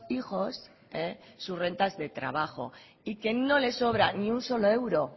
hijos sus rentas de trabajo y que no le sobra ni un solo euro